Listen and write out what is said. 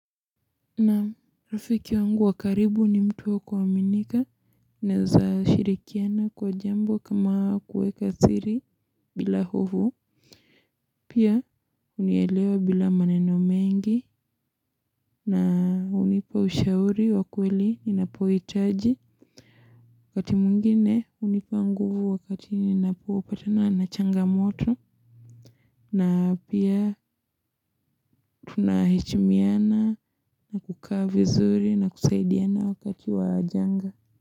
Naam rafiki wangu wa karibu ni mtu wa kuaminika naweza shirikiana kwa jambo kama kuweka siri bila hofu pia hunielewa bila maneno mengi na hunipa ushauri wa kweli ninapohitaji wakati mwingine hunipa nguvu wakati ninapopatana na changamoto na pia tunaheshimiana na kukaa vizuri na kusaidiana wakati wa janga.